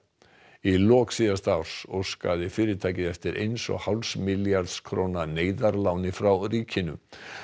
í lok síðasta árs óskaði fyrirtækið eftir eins og hálfs milljarðs króna neyðarláni frá ríkinu